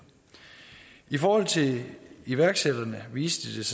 i forhold til iværksætterne viste